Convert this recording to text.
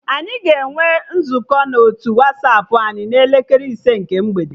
Anyị ga-enwe nzukọ na otu Wasapụ anyị n'elekere ise nke mgbede